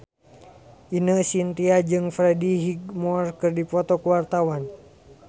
Ine Shintya jeung Freddie Highmore keur dipoto ku wartawan